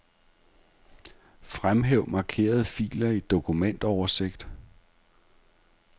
Fremhæv markerede filer i dokumentoversigt.